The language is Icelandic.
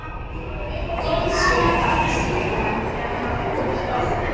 Góð súpa endurtók hann, þegar hann var búinn úr skálinni.